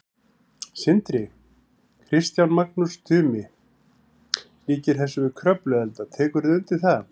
Sindri: Kristján, Magnús Tumi líkir þessu við Kröfluelda, tekurðu undir það?